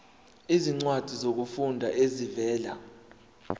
izincwadi zokufunda ezivela